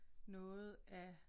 Noget af